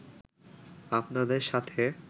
আপনাদের সাথে